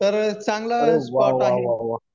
तर चांगलं स्पॉट आहे